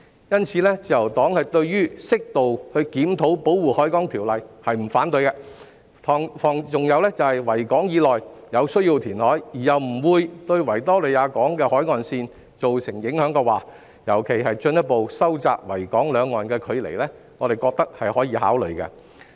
因此，自由黨對於適度檢討《條例》並不反對，如果在維港以內有需要填海，而又不會對維港海岸線造成影響，尤其是不會進一步收窄維港兩岸的距離，我們認為可以考慮。